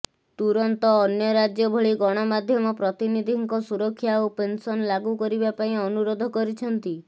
ତୁରନ୍ତ ଅନ୍ୟ ରାଜ୍ୟ ଭଳି ଗଣମାଧ୍ୟମ ପ୍ରତିନିଧିଙ୍କ ସୁରକ୍ଷା ଓ ପେନସନ ଲାଗୁ କରିବା ପାଇଁ ଅନୁରୋଧ କରିଛନ୍ତି